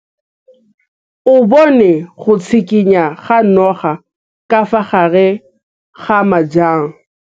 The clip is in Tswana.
O bone go tshikinya ga noga ka fa gare ga majang.